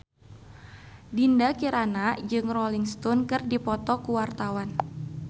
Dinda Kirana jeung Rolling Stone keur dipoto ku wartawan